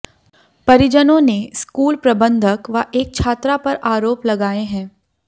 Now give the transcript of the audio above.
परिजनों ने स्कूल प्रबंधक व एक छात्रा पर आरोप लगाए हैं